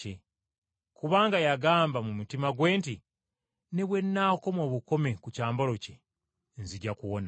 Kubanga yagamba mu mutima gwe nti, “Ne bwe nnaakoma obukomi ku kyambalo kye nzija kuwona.”